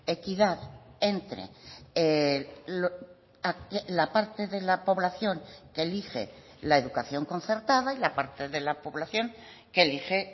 equidad entre la parte de la poblacion que elige la educación concertada y la parte de la poblacion que elige